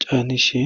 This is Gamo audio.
caanishe.